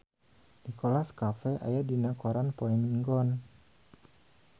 Nicholas Cafe aya dina koran poe Minggon